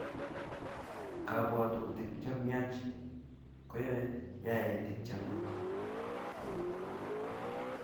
Kapwatutik che myach koiyei yaetik che myach